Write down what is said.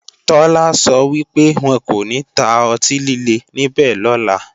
Tọ́lá sọ wípé, wọn kò ní ta ọtí líle níbẹ̀ lọ́la